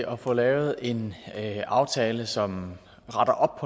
at få lavet en aftale som retter op